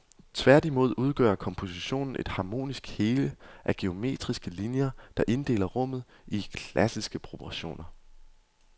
Tværtimod udgør kompositionen et harmonisk hele af geometriske linjer, der inddeler rummet i klassiske proportioner.